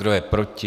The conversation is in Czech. Kdo je proti?